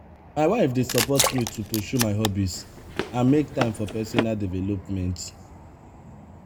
my wife dey support me to pursue my hobbies and make time for personal development.